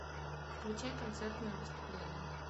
включай концертное выступление